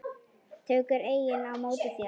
Tekur enginn á móti þér?